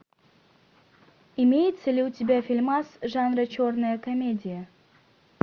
имеется ли у тебя фильмас жанра черная комедия